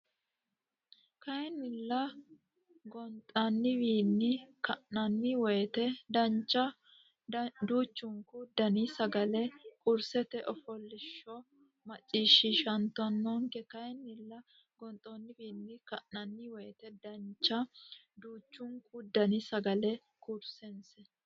Kayinnilla gonxoonniwiinni ka nanni woyte dancha duuchunku dani sagalla karsiinse fooliishsho macciishshantannonke Kayinnilla gonxoonniwiinni ka nanni woyte dancha duuchunku dani sagalla karsiinse.